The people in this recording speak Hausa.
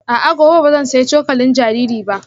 A'a, gobe ba zan sayi cokalin jariri ba